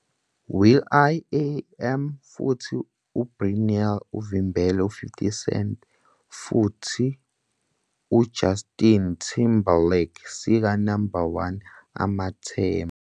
"Will. I. Am futhi Britney uvimbele 50 Cent futhi Justin Timberlake sika Number 1 amathemba."